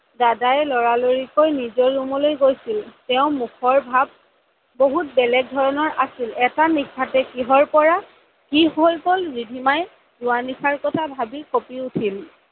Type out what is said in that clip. দাদায়ে লৰা লৰিকৈ নিজৰ ৰুমলৈ গৈছিল তেওৰ মুখৰ ভাব বহুত বেলেগ ধৰণৰ আছিল, এটা নিশাতে কিহৰ পা কি হৈ গল ৰিধিমাই যোৱা নিশাৰ কথা ভাবি কপি উঠিল